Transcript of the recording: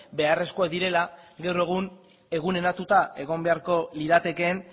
beharrezkoak direla gaur egun eguneratuta egon beharko liratekeen